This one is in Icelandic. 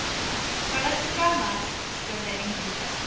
Hvað ertu gamall? spurði Engilbert.